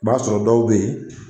B'a sɔrɔ dɔw be yen